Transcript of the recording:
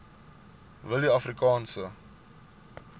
willieafrikaanse